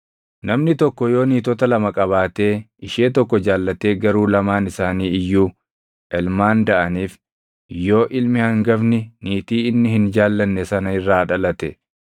Namni tokko yoo niitota lama qabaatee ishee tokko jaallatee garuu lamaan isaanii iyyuu ilmaan daʼaniif, yoo ilmi hangafni niitii inni hin jaallanne sana irraa dhalate,